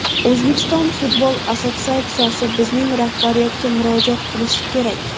O‘zbekiston futbol assotsiatsiyasi bizning rahbariyatga murojaat qilishi kerak.